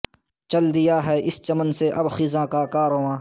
شل دیا ہے اس چمن سے اب خزاں کا کارواں